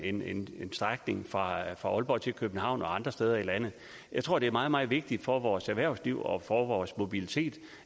strækning fra aalborg til københavn og andre steder i landet jeg tror det er meget meget vigtigt for vores erhvervsliv og for vores mobilitet